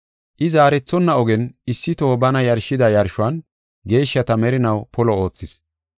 I zaarethonna ogen issi toho bana yarshida yarshuwan geeshshata merinaw polo oothis.